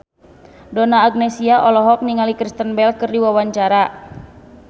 Donna Agnesia olohok ningali Kristen Bell keur diwawancara